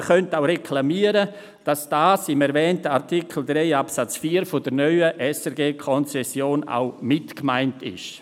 Man könnte sich auch darüber beschweren, dass dies im erwähnten Artikel 3 Absatz 4 der neuen SRG-Konzession auch mitgemeint ist.